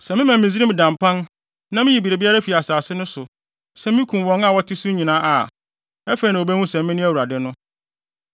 Sɛ mema Misraim da mpan na miyi biribiara fi asase no so, sɛ mikum wɔn a wɔte so nyinaa a, afei na wobehu sɛ mene Awurade no.’